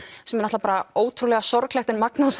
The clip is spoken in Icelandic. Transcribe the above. sem er náttúrulega ótrúlega sorglegt en magnað á